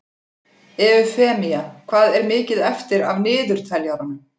Eufemía, hvað er mikið eftir af niðurteljaranum?